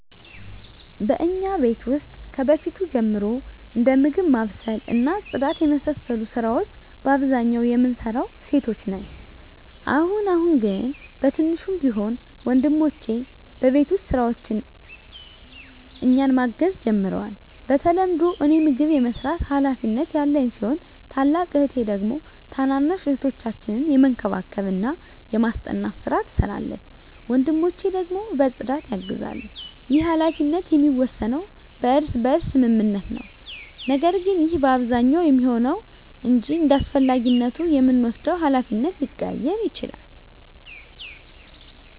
በእኛ ቤት ውስጥ ከበፊት ጀምሮ እንደ ምግብ ማብሰል እና ጽዳት የመሳሰሉ የቤት ስራወች በአብዛኛው የምንሰራው ሴቶች ነን። አሁን አሁን ግን በትንሹም ቢሆን ወንድሞቸ በቤት ውስጥ ስራዎች እኛን ማገዝ ጀምረዋል። በተለምዶ እኔ ምግብ የመስራት ሀላፊነት ያለኝ ሲሆን ታላቅ እህቴ ደግሞ ታናናሽ እህቶቻችንን የመንከባከብና የማስጠናት ስራ ትሰራለች። ወንድሞቸ ደግሞ በፅዳት ያግዛሉ። ይህ ሀላፊነት የሚወሰነው በእርስ በርስ ስምምነት ነው። ነገር ግን ይህ በአብዛኛው የሚሆነው ነው እንጅ እንዳስፈላጊነቱ የምንወስደው ሀላፊነት ሊቀያየር ይችላል።